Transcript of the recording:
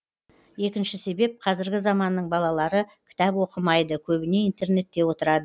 екінші себеп қазіргі заманның балалары кітап оқымайды көбіне интернетте отырады